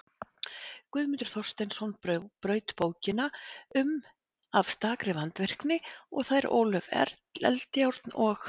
Guðmundur Þorsteinsson braut bókina um af stakri vandvirkni og þær Ólöf Eldjárn og